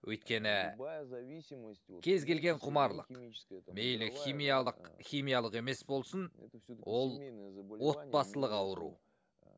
өйткені кез келген құмарлық мейлі химялық химиялық емес болсын ол отбасылық ауру